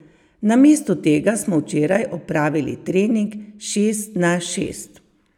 Namesto tega smo včeraj opravili trening šest na šest.